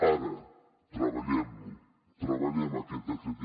ara treballem lo treballem aquest decret